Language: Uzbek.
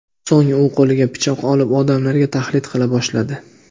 So‘ng u qo‘liga pichoq olib, odamlarga tahdid qila boshladi.